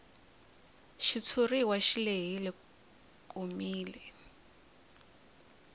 xitshuriwa xi lehile komile